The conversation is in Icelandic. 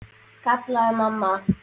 kallaði mamma.